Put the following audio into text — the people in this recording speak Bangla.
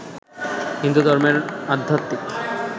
হিন্দুধর্মের আধ্যাত্মিক